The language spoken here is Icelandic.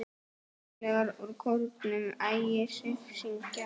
Félagar úr kórnum Ægisif syngja.